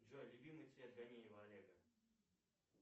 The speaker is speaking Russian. джой любимый цвет ганеева олега